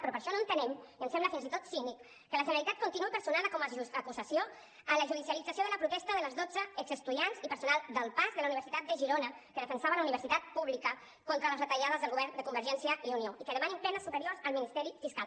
però per això no entenem i ens sembla fins i tot cínic que la generalitat continuï personada com a acusació en la judicialització de la protesta de les dotze exestudiants i personal del pas de la uni·versitat de girona que defensava la universitat pública contra les retallades del go·vern de convergència i unió i que demanin penes superiors al ministeri fiscal